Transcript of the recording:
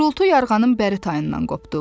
Gurultu yarğanın bəri tayından qopdu.